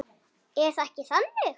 Er það ekki þannig?